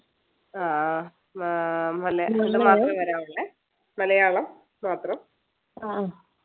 ആഹ് ആഹ് മല മലയാളം മാത്രം